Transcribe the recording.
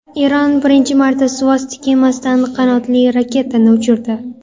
Eron birinchi marta suvosti kemasidan qanotli raketani uchirdi .